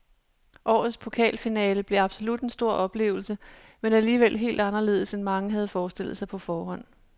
Årets pokalfinale blev absolut en stor oplevelse, men alligevel helt anderledes end mange havde forestillet sig på forhånd.